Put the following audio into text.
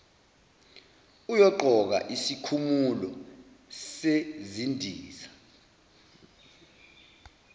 uyoqoka isikhumulo sezindiza